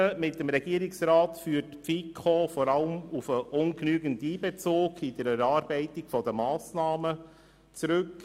Die Differenzen mit dem Regierungsrat führt die FiKo vor allem auf den ungenügenden Einbezug der Kommission bei der Erarbeitung der Massnahmen zurück.